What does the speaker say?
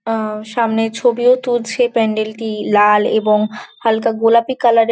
আ সামনেও ছবিও তুলছে প্যান্ডেল টি লাল এবং হালকা গোলাপি কালার রে--